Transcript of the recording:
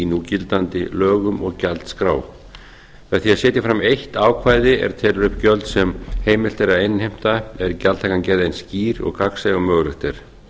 núgildandi lögum og gjaldskrá með að setja fram eitt ákvæði er telur upp gjöld sem heimilt er að innheimta er gjaldtakan gerð eins skýr og gagnsæ og mögulegt er